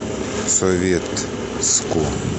советску